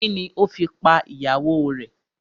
Kini o fi pa ìyàwó rè?